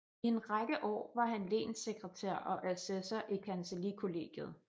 I en række år var han lenssekretær og assessor i Kancellikollegiet